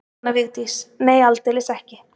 Jóhanna Vigdís: Nei aldeilis ekki.